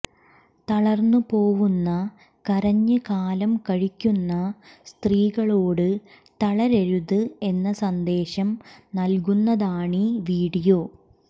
തളർന്ന് പോവുന്ന കരഞ്ഞ് കാലം കഴിക്കുന്ന സ്ത്രീകളോട് തളരരുത് എന്ന സന്ദേശം നൽകുന്നതാണീ വിഡിയോ